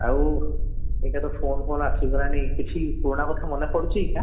ଆଉ ଏଇଟା ତ phone ଆସି ଗଲାଣି କିଛି ପୁରୁଣା କଥା ମନେ ପଡୁଛି ହାଁ